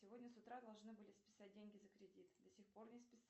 сегодня с утра должны были списать деньги за кредит до сих пор не списали